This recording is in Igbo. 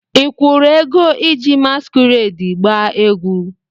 Ị kwụrụ ego iji masquerade gbaa egwu?